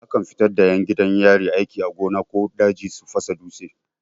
Akan fita da 'yan gidan yari aiki a gona ko daji su fasa dutse.